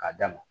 K'a d'a ma